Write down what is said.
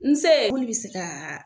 Nse bi se ka.